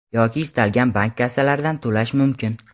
yoki istalgan bank kassalaridan to‘lash mumkin.